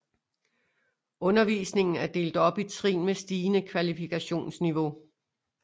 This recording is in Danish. Undervisningen er delt op i trin med stigende kvalifikationsniveau